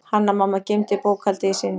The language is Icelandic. Hanna-Mamma geymdi bókhaldið í sinni.